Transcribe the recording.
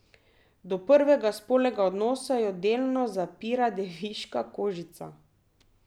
Do prvega spolnega odnosa jo delno zapira deviška kožica.